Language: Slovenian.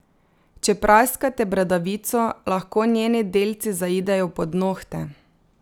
Če praskate bradavico, lahko njeni delci zaidejo pod nohte.